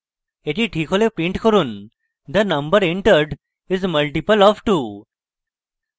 the ঠিক হলে print করুন the number entered is multiple of 2